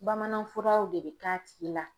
Bamanan furaw de bɛ k'a tigi la